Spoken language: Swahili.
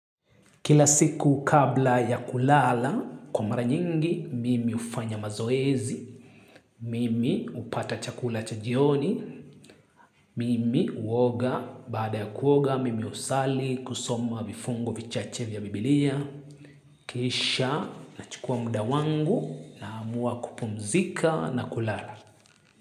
Kila siku kabla ya kulala, kwa mara nyingi, mimi hufanya mazoezi, mimi hupata chakula cha jioni, mimi huoga, baada ya kuoga, mimi husali kusoma vifungo vichache vya biblia, kisha nachukua muda wangu naamua kupumzika na kulala.